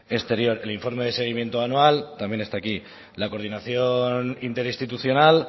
exterior el informe de seguimiento anual también está aquí la coordinación interinstitucional